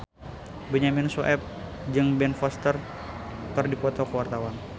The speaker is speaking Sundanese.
Benyamin Sueb jeung Ben Foster keur dipoto ku wartawan